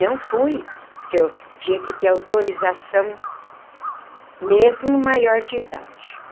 Não fui, porque eu tinha que ter autorização, mesmo maior de idade.